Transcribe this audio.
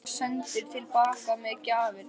Leiknir var sendur til baka með gjafirnar.